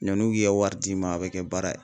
Yann'u k'i ka wari d'i ma a bɛ kɛ baara ye.